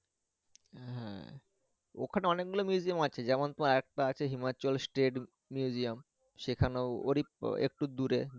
হ্যা ওখানে অনেক গুলা museum ও আছে যেমন তোমার আর একটা আছে হিমাচল state museum সেখানেও ওরই একটু দূরে।